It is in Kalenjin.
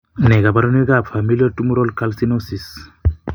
Nee kabarunoikab Familial tumoral calcinosis?